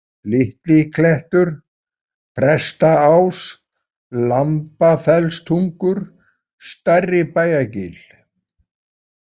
Litli-Klettur, Prestaás, Lambafellstungur, Stærribæjargil